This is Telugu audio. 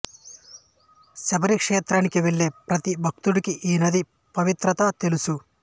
శబరి క్షేత్రానికి వెళ్లే ప్రతి భక్తుడికి ఈ నది పవిత్రత తెలుసు